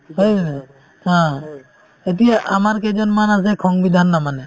হয় নে নাই haa এতিয়া আমাৰ কেইজনমান আছে সংবিধান নামানে